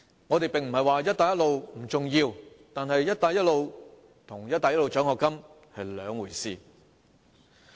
我們並非說"一帶一路"不重要，但"一帶一路"與"一帶一路"獎學金是兩回事。